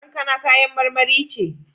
Kankana kayan marmari ce.